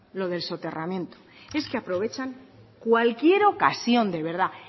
lo del soterramiento es que aprovechan cualquier ocasión de verdad